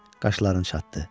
Qaşlarını çatdı.